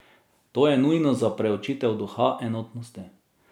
To je nujno za priučitev duha enotnosti.